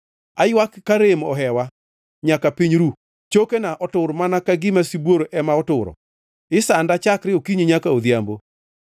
Aywak ka rem ohewa nyaka piny ru, chokena otur mana ka gima sibuor ema oturo, isanda chakre okinyi nyaka odhiambo.